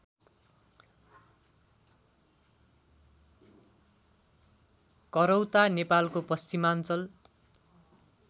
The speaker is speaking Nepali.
करौता नेपालको पश्चिमाञ्चल